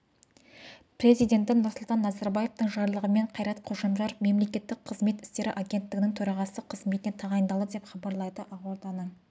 президенті нұрсұлтан назарбаевтың жарлығымен қайрат қожамжаров мемлекеттік қызмет істері агенттігінің төрағасы қызметіне тағайындалды деп хабарлайды ақорданың